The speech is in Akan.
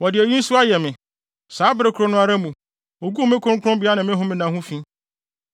Wɔde eyi nso ayɛ me: Saa bere koro no ara mu, woguu me kronkronbea ne me homenna ho fi.